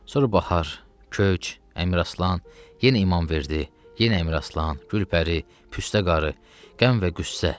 Sonra bahar, köç, Əmiraslan, yenə İmamverdi, yenə Əmiraslan, Gülpəri, Püstə qarı, qəm və qüssə.